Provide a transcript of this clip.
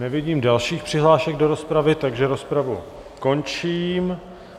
Nevidím dalších přihlášek do rozpravy, takže rozpravu končím.